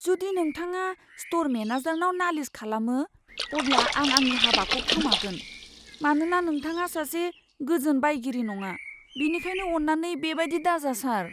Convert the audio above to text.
जुदि नोंथाङा स्ट'र मेनेजारनाव नालिस खालामो, अब्ला आं आंनि हाबाखौ खोमागोन, मानोना नोंथाङा सासे गोजोन बायगिरि नङा, बेनिखायनो अन्नानै बेबादि दाजा, सार।